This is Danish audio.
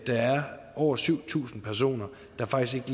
er over syv tusind personer der faktisk